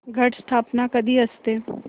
घट स्थापना कधी असते